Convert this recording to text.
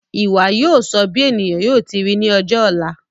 Ìwà yóò sọ bí ènìyàn yóò ti ri ní ọjọ ọ̀la